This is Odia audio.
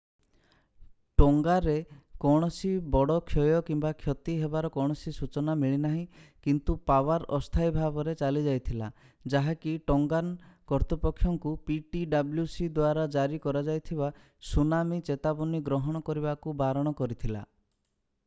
ଟୋଙ୍ଗାରେ କୌଣସି ବଡ଼ କ୍ଷୟ କିମ୍ବା କ୍ଷତି ହେବାର କୌଣସି ସୂଚନା ମିଳିନାହିଁ କିନ୍ତୁ ପାୱାର ଅସ୍ଥାୟୀ ଭାବରେ ଚାଲିଯାଇଥିଲା ଯାହାକି ଟୋଙ୍ଗାନ କର୍ତ୍ତୃପକ୍ଷଙ୍କୁ ptwc ଦ୍ଵାରା ଜାରି କରାଯାଇଥିବା ସୁନାମି ଚେତାବନୀ ଗ୍ରହଣ କରିବାକୁ ବାରଣ କରିଥିଲା